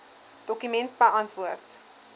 dokument beantwoord